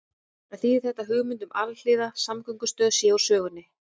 En þýðir þetta að hugmynd um alhliða samgöngumiðstöð sé úr sögunni?